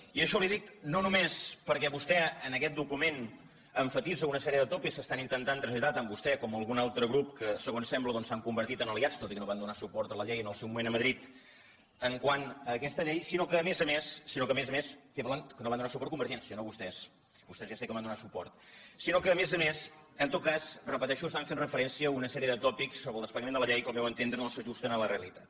i això li ho dic no només perquè vostè en aquest document emfasitza una sèrie de tòpics que estan intentant traslladar tant vostè com algun altre grup que segons sembla doncs s’han convertit en aliats tot i que no van donar suport a la llei en el seu moment a madrid quant a aquesta llei sinó que a més a més estic parlant que no hi van donar suport convergència no vostès vostès ja sé que hi van donar suport en tot cas ho repeteixo estan fent referència a una sèrie de tòpics sobre el desplegament de la llei que al meu entendre no s’ajusten a la realitat